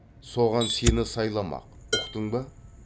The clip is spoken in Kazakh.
соған сені сайламақ ұқтың ба